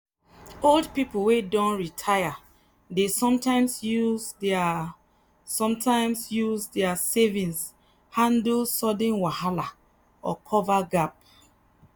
old people wey don retire dey sometimes use their sometimes use their savings handle sudden wahala or cover gap.